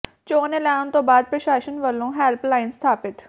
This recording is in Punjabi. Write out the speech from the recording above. ਚੋਣ ਐਲਾਣ ਤੋਂ ਬਾਅਦ ਪ੍ਰਸ਼ਾਸਨ ਵਲੋਂ ਹੈਲਪ ਲਾਈਨ ਸਥਾਪਿਤ